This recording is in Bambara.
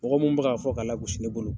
Mɔgɔ mun bɛ k'a fɔ k'a la gosi ne bolo